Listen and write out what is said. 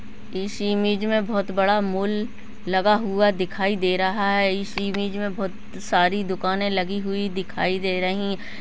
इस इमेज में बहोत बड़ा मॉल लगा हुआ दिखाई दे रहा है इस इमेज में बहोत सारी दुकानें लगी हुई दिखाई दे रही --